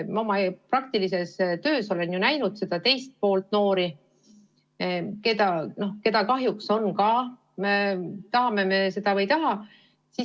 Oma praktilises töös olen ju näinud seda teist poolt noori, keda kahjuks on samuti, tahame me seda või ei taha.